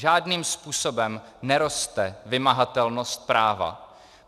Žádným způsobem neroste vymahatelnost práva.